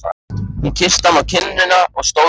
Hún kyssti hann á kinnina og stóð upp.